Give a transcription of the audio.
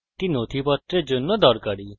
এটি নথিপত্রের জন্য দরকারী